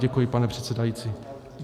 Děkuji, pane předsedající.